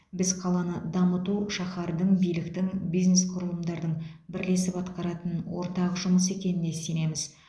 біз қаланы дамыту шаһардың биліктің бизнес құрылымдардың бірлесіп атқаратын ортақ жұмысы екеніне сенеміз